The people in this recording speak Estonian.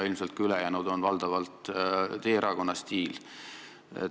Ilmselt on ka ülejäänud valdavalt teie erakonna stiili näited.